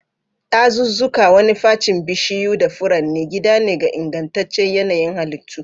Dazuzzuka, wani facin bishiyu da furanni, gida ne ga ingantaccen yanayin halittu.